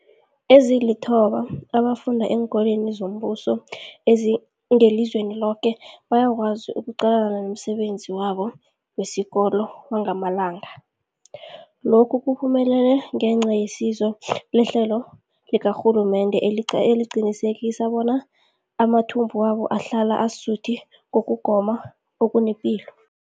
Ezilithoba abafunda eenkolweni zombuso ezingelizweni loke bayakwazi ukuqalana nomsebenzi wabo wesikolo wangamalanga. Lokhu kuphumelele ngenca yesizo lehlelo likarhulumende eliqinisekisa bona amathumbu wabo ahlala asuthi ukugoma okunepilo.